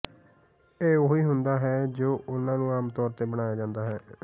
ਇਹ ਉਹੀ ਹੁੰਦਾ ਹੈ ਜੋ ਉਹਨਾਂ ਨੂੰ ਆਮ ਤੌਰ ਤੇ ਬਣਾਇਆ ਜਾਂਦਾ ਹੈ